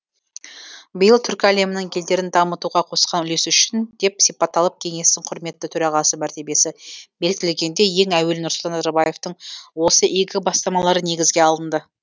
биыл түркі әлемінің елдерін дамытуға қосқан үлесі үшін деп сипатталып кеңестің құрметті төрағасы мәртебесі бекітілгенде ең әуелі нұрсұлтан назарбаевтың осы игі бастамалары негізге алынды